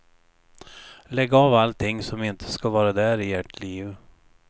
Lägg av allting som inte ska vara där i ert liv.